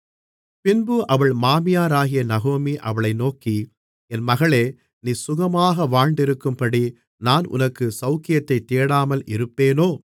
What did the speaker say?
பின்பு அவள் மாமியாராகிய நகோமி அவளை நோக்கி என் மகளே நீ சுகமாக வாழ்ந்திருக்கும்படி நான் உனக்கு சவுக்கியத்தைத் தேடாமல் இருப்பேனோ